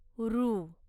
हृ